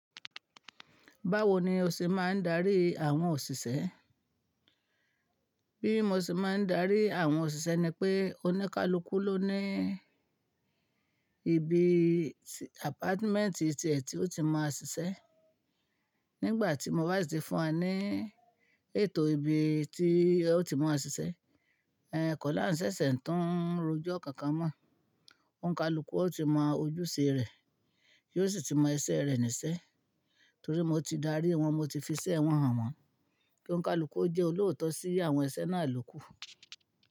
Báwo ni o ṣe máa ń darí àwọn òṣìṣẹ́? Bí mo ṣe máa ń darí àwọn òṣìṣẹ́ ni pé, oníkálukú ló ní ibi apartment ti è tí ó ti mọ a ṣiṣẹ́. Nígbà tí mo bá sì ti fún wa ní ètò ibi tí ẹ ó ti mọ a ṣiṣẹ́, ẹ̀ kọ́ là ń ṣẹ̀ṣẹ̀ ń tún rojọ́ kankan mọ̀. Onkálukú ó ti mọ ojúṣe rẹ̀, yóò sì ti mọ ẹṣẹ́ rẹ̀ níṣẹ́. Torí mo ti darí wọn, mo ti fiṣẹ́ wọn hàn wọ́n. Ki onkálukú ó jẹ́ olóòótọ́ sí àwọn ẹṣẹ́ náà ló kù.